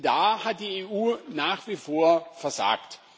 Da hat die EU nach wie vor versagt.